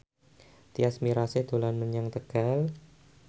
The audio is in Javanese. Tyas Mirasih dolan menyang Tegal